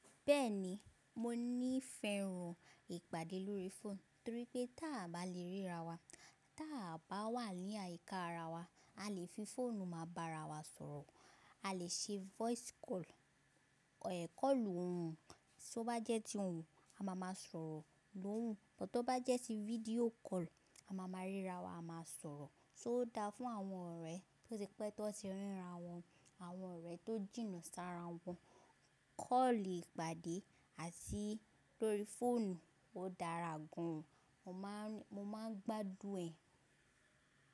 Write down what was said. Bẹ́ẹ̀ni, mo níí fẹ́ràn ìpàdé lórí fóònù torí pé tí a bá le ríra wa, tí a bá wà ní àyíká ara wa, a lè fi fóònù máa bá ara wa sọ̀rọ̀. A lè ṣe voice call, ẹ̀ kọ́lù ohùn, só bá jẹ́ ti ohùn, a máa ma sọ̀rọ̀ l’ohùn. Bọ̀ tó bá jẹ́ ti fídíò call, a máa ma ríra wa, a máa sọ̀rọ̀. So dà fún àwọn ọ̀rẹ́ tó ti pẹ́ tó ti ríra wọn, àwọn ọ̀rẹ́ tó jìnnà sára wọn. Kọ́lì ìpàdé àti lórí fóònù, ó dára gán. Mo máà ń gba dún ẹ̀.